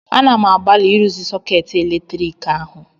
Ana m agbalị ịrụzi sọkeetị eletrik ahụ